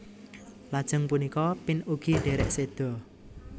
Lajeng punika Pin ugi derek seda